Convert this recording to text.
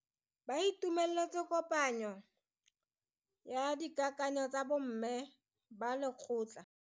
Ba itumeletse kopanyo ya dikakanyo tsa bo mme ba lekgotla.